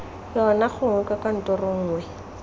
yona gongwe kwa kantorong nngwe